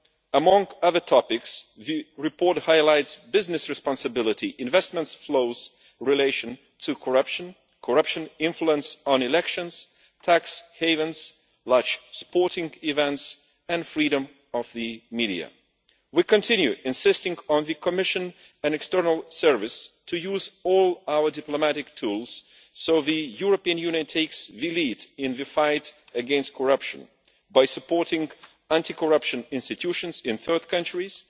Among other topics, the report highlights business responsibility, investment flows in relation to corruption, the influence of corruption on elections, tax havens, large sporting events and freedom of the media. We continue to insist that the Commission and the External Action Service use all our diplomatic tools so that the European Union takes the lead in the fight against corruption by supporting anti corruption institutions in third countries,